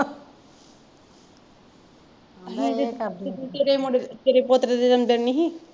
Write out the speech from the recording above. ਤੇਰੇ ਮੁੰਡੇ ਦੇ ਤੇਰੇ ਪੋਤਰੇ ਦੇ ਜਨਮਦਿਨ ਨਹੀਂ ਸੀ?